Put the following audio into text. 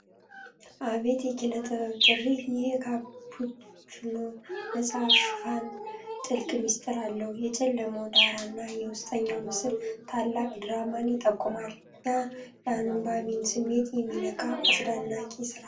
አቤት የኪነ ጥበብ ጥሪ! ይህ የካፑችኖ ' መጽሐፍ ሽፋን ጥልቅ ምስጢር አለው! የጨለመው ዳራ እና የውስጠኛው ምስል ታላቅ ድራማን ይጠቁማል። የአንባቢን ስሜት የሚነካ አስደናቂ ሥራ!